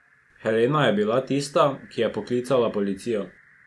Helena je bila tista, ki je poklicala policijo.